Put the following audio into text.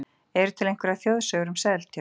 Eru til einhverjar þjóðsögur um Seltjörn?